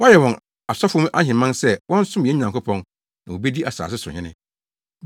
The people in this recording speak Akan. Wɔayɛ wɔn asɔfo ahemman sɛ wɔnsom yɛn Nyankopɔn na wobedi asase so hene.”